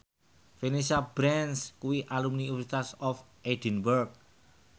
Vanessa Branch kuwi alumni University of Edinburgh